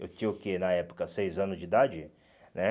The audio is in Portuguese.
Eu tinha o quê, na época, seis anos de idade, né?